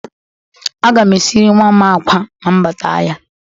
Aga m esiri nwa m akwa ma m bata ahịa.